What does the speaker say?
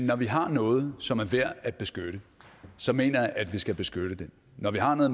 når vi har noget som er værd at beskytte så mener jeg at vi skal beskytte det når vi har noget